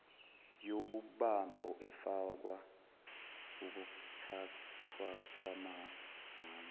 yobumbano efaka ukuthathwakwamaminithi